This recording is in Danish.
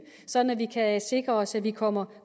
sådan at vi kan sikre os at vi kommer